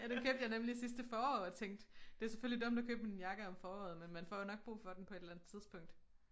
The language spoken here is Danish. Ja den købte jeg nemlig sidste forår og tænkte det selvfølgelig dumt at købe en jakke om foråret men man får jo nok brug for den på et eller andet tidspunkt